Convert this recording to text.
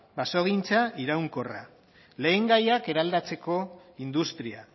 basogintza iraunkorra lehengaiak eraldatzeko industria